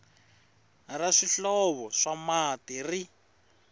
ra swihlovo swa mati ri